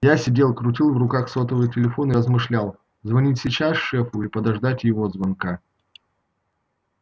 я сидел крутил в руках сотовый телефон и размышлял звонить сейчас шефу или подождать его звонка